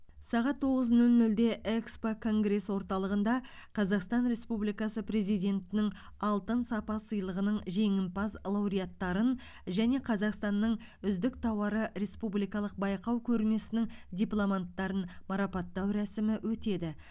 сағат тоғыз нөл нөлде экспо конгресс орталығында қазақстан республикасы президентінің алтын сапа сыйлығының жеңімпаз лауреаттарын және қазақстанның үздік тауары республикалық байқау көрмесінің дипломанттарын марапаттау рәсімі өтеді